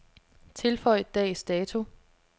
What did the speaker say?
Tilføj dags dato.